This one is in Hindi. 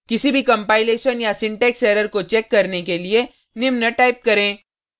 किसी भी कंपाइलेशन या सिंटेक्स एरर को चेक करने के लिए निम्न टाइप करें